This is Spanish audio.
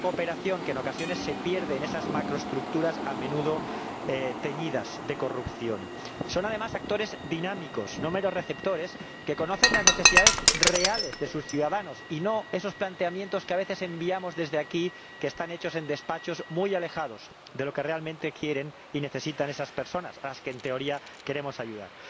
esa cooperación que, en ocasiones, se pierde en esas macroestructuras a menudo teñidas de corrupción Son, además, actores dinámicos, no meros receptores, que conocen las necesidades reales de sus ciudadanos, y no esos planteamientos que a veces enviamos desde aquí diseñados en despachos muy alejados de lo que realmente quieren y necesitan esas personas, a las que, en teoría, queremos ayudar.